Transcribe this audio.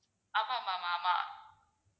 ஆமா ma'am ஆமா.